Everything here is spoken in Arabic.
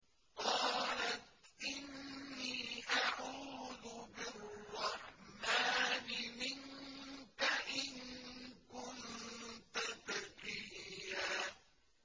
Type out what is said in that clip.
قَالَتْ إِنِّي أَعُوذُ بِالرَّحْمَٰنِ مِنكَ إِن كُنتَ تَقِيًّا